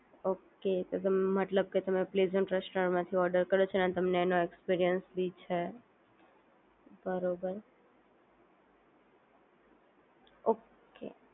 Okay તો તમે મતલબ કે તમે પ્રેઝન્ટ રેસ્ટોરન્ટ માંથી ઓર્ડર કર્યો છે અને તમને એનો એક્સપિરિયન્સ બી છે. બરોબર. ઓકે